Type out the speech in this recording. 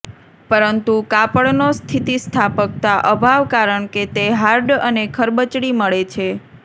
પરંતુ કાપડનો સ્થિતિસ્થાપકતા અભાવ કારણ કે તે હાર્ડ અને ખરબચડી મળે છે